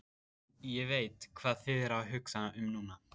Ég veit, hvað þið eruð að hugsa um núna.